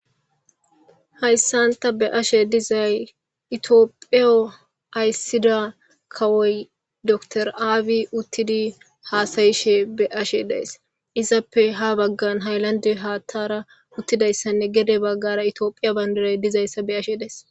haysan ta be'she dizay ethiopia Aysida kawoy doctor Abiy utidi Hasa'she des ezape Ha Bagara Haylande Hathey Utidaysne Gede Bagara Ethiopia Bandiray Utidaysa Be'ashe Days